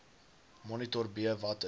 monitor b watter